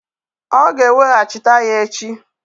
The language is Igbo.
Ọ ga-eweghachita ya echi.